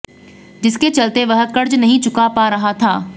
जिसके चलते वह कर्ज नहीं चुका पा रहा था